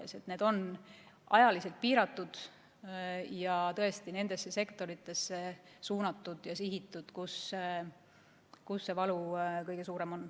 Need on ajaliselt piiratud ja suunatud nendesse sektoritesse, kus valu kõige suurem on.